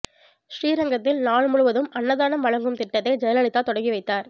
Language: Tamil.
ஸ்ரீரங்கத்தில் நாள் முழுவதும் அன்ன தானம் வழங்கும் திட்டத்தை ஜெயலலிதா தொடங்கி வைத்தார்